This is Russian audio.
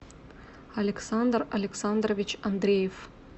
александр александрович андреев